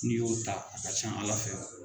N'i y'o ta a ka can Ala fɛ.